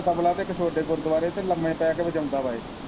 ਤਬਲਾ ਤੇ ਇੱਕ ਛੋਟੇ ਗੁਰਦੁਆਰੇ ਚ ਲੰਮੇ ਪੈ ਕੇ ਵਜਾਉਂਦਾ ਵਾ ਇਹ।